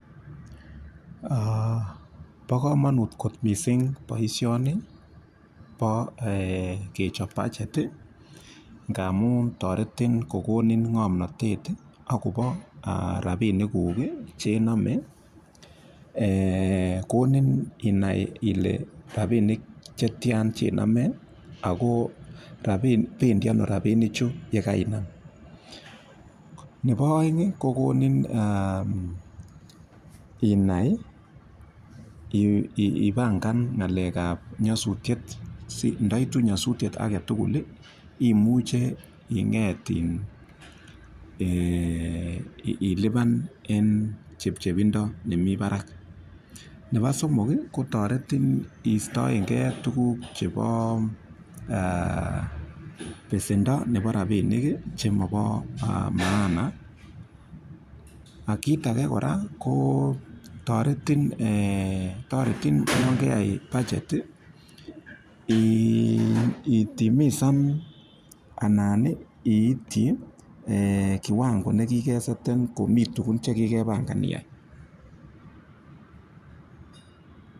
Bo komonut kot mising boishoni bo kechop budget ngamun toretin, konin ng'omnotet inai akobo rapiniguk chename. Konin inai ile rapinik chetia chename ako bendi ano rapinichu yekainam. Nebo oeng kokonin inai ipangan akobo nyosutiet si ndaitu nyosutiet imuche ilipan eng chepchepindo nemi barak. Nebo somok kotoretin iistoegei tukuk chebo besendo nebo rapinik chemobo maana. Kit age kora ko toreti yon keyai budget itimisan anan iitchi kiwango nekikesetan ngomi tukuk che kikepangan iyai.